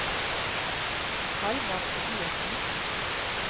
Halvard Tobiassen